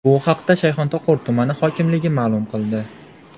Bu haqda Shayxontohur tumani hokimligi ma’lum qildi .